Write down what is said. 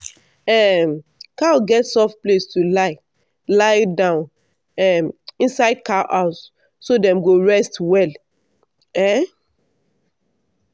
um cow get soft place to lie lie down um inside cow house so dem go rest well. um